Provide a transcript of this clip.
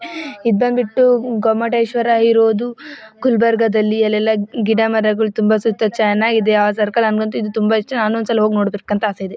ಈದ್ ಬಂದ್ಬಿಟ್ಟು ಗೋಮಟೇಶ್ವರ ಇರೋದು ಗುಲಬರ್ಗಾದಲ್ಲಿ ಅಲ್ಲೆಲ್ಲ ಗಿಡಮರಗಳು ತುಂಬ ಸುತ್ತ ಚೆನಾಗಿದೆ ಆ ಸರ್ಕಲ್ ನಂಗಂತೂ ಇದು ತುಂಬ ಇಷ್ಟ ನಾನು ಒಂದ್ಸಲ ನೋಡ್ಬೇಕು ಅಂತ ಅಸೆ ಇದೆ .